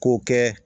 K'o kɛ